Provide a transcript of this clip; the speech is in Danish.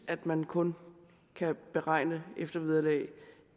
at man kun kan beregne eftervederlag